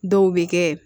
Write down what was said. Dɔw bɛ kɛ